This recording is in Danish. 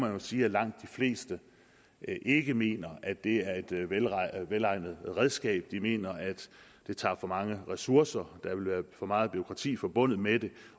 jo sige at langt de fleste ikke mener at det er et velegnet redskab de mener at det tager for mange ressourcer og at der vil være for meget bureaukrati forbundet med det